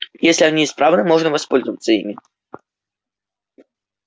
если они исправны можно воспользоваться ими